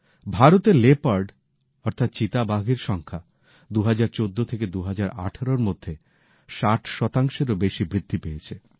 ভারতে লেপার্ডের সংখ্যা ২০১৪ থেকে ২০১৮ এর মধ্যে ৬০ শতাংশেরও বেশি বৃদ্ধি পেয়েছে